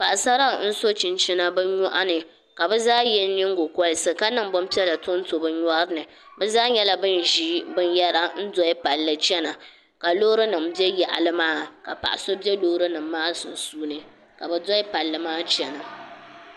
Paɣasara n so chinchina bi nyoɣani ka bi zaa yɛ nyingokoriti ka niŋ bin piɛla tonto bi nyori ni bi zaa nyɛla bin ʒi binyɛra n doli palli chɛna ka loori nim bɛ yaɣali maa ka paɣa so bɛ loori nim maa sunsuuni ka bi doli palli maa chɛna